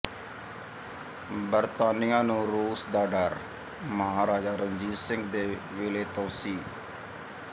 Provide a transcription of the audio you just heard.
ਬਰਤਾਨੀਆ ਨੂੰ ਰੂਸ ਦਾ ਡਰ ਮਹਾਰਾਜਾ ਰਣਜੀਤ ਸਿੰਘ ਦੇ ਵੇਲੇ ਤੋਂ ਸੀ